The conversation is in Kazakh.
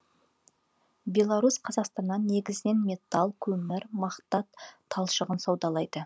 беларусь қазақстаннан негізінен металл көмір мақта талшығын саудалайды